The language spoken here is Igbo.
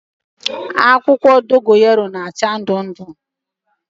Akwukwo dogoyaro na-acha ndu ndu